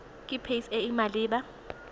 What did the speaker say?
ke pac e e maleba